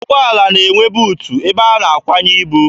Ụgbọala na-enwe buutu ebe a na-akwanye ibu.